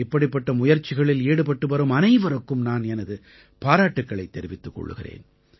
இப்படிப்பட்ட முயற்சிகளில் ஈடுபட்டுவரும் அனைவருக்கும் நான் எனது பாராட்டுக்களைத் தெரிவித்துக் கொள்கிறேன்